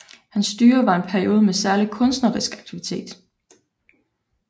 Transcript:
Hans styre var en periode med særlig kunstnerisk aktivitet